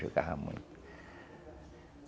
Jogava muito.